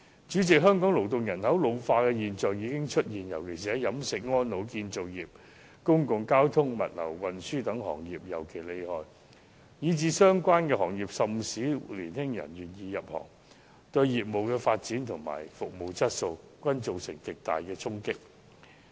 主席，香港勞動人口老化的現象已經出現，而在飲食、安老、建造業、公共交通、物流運輸等行業尤其嚴重，以致相關行業甚少年輕人願意入行，對業務發展及服務質素均造成極大衝擊。